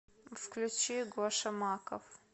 включи гоша маков